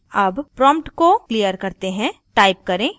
अब prompt को खाली करते हैं